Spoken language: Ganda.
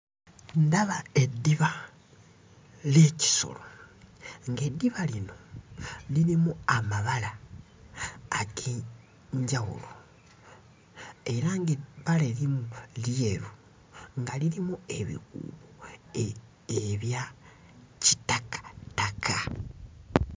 Ndaba eddiba ly'ekisolo ng'eddiba lino lirimu amabala ag'enjawulo, era ng'ebbala erimu lyeru nga lirimu ebikuubo ebya kitakataka.